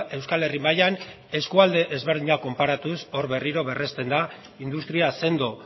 euskal herri mailan eskualde ezberdinak konparatuz hor berriro berresten da industria sendo